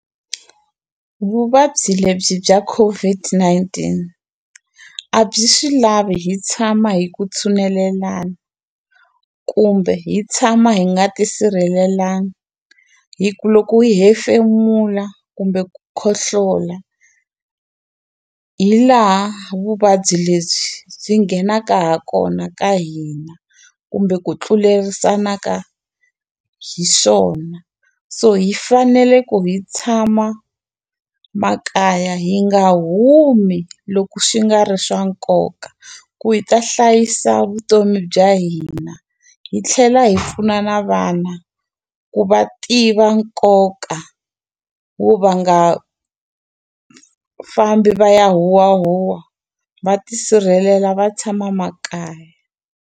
Vuvabyi lebyi bya COVID-19 a byi swi lavi hi tshama hi ku tshunelelana kumbe hi tshama hi nga ti sirhelelanga hi ku loko u hefemula kumbe ku khohlola hi laha vuvabyi lebyi byi nghenaka ha kona ka hina kumbe ku tlulerisana ka hiswona so hi fanele ku hi tshama makaya hi nga humi loko swi nga ri swa nkoka ku hi ta hlayisa vutomi bya hina hi tlhela hi pfuna na vana ku va tiva nkoka wo va nga fambi va ya huwahuwa va tisirhelela va tshama makaya.